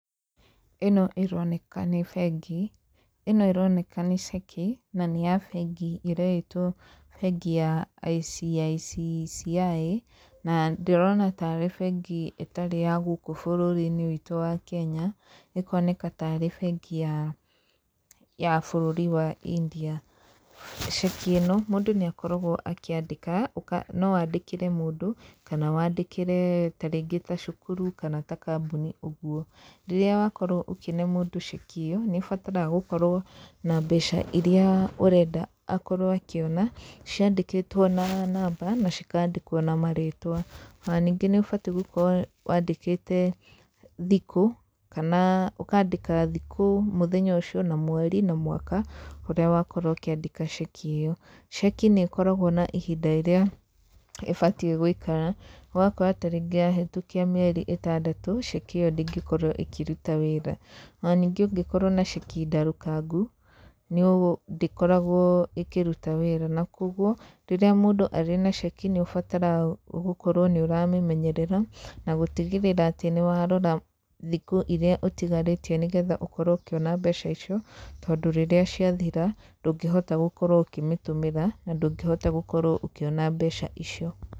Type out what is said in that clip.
ĩno ĩroneka nĩ bengi, ĩno ĩroneka nĩ ceki na nĩ ya bengi ĩretwo bengi ya ICICCCI, na ndĩrona tarĩ bengi ĩtarĩ ya gũkũ bũrũri-inĩ witũ wa Kenya, ĩkoneka tarĩ bengi ya bũrũri wa India, ceki ĩno mũndũ nĩ akoragwo akĩandĩka, no wandĩkĩre mũndũ, kana wandĩkĩre ta rĩngĩ ta cukuru kana ta kambuni, ũguo, rĩrĩa wakorwo ũkĩne mũndũ ceki ĩyo, nĩ ũbataraga gũkorwo na mbeca iria ũrenda akorwo akĩona, ciandĩkĩtwo na namba, na cikandĩkwo na marĩtwa, ona ningĩ nĩ ũbatiĩ gũkorwo wandĩkĩte thikũ, kana ũkandĩka thikũ, mũthenya ũcio, na mweri na mwaka ũrĩa wakorwo ũkĩandĩka ceki ĩyo, ceki nĩ ĩkoragwo na ihinda rĩrĩa ĩbatiĩ gũikara, ũgakora ta rĩngĩ yahĩtũkia mĩeri ĩtandatũ, ceki ĩyo ndĩngĩkorwo ĩkĩruta wĩra, ona ningĩ ũngĩkorwo na ceki ndarũkangu, nĩ ũ ndĩkoragwo ĩkĩruta wĩra, na koguo rĩrĩa mũndũ arĩ na ceki nĩ ũbataraga gũkorwo nĩ ũramĩmenyerera, na gũtigĩrĩra atĩ nĩ warora thikũ iria ũtigarĩtie nĩgetha ũkorwo ũkĩona mbeca icio, tondũ rĩrĩa ciathira, ndũngĩhota gũkorwo ũkĩmĩtũmĩra, na ndũngĩhota gũkorwo ũkĩona mbeca icio.